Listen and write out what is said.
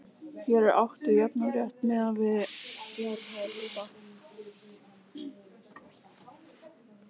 Hér er átt við jafnan rétt miðað við fjárhæð hluta.